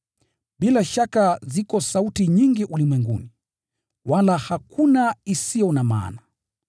Bila shaka ziko sauti nyingi ulimwenguni, wala hakuna isiyo na maana.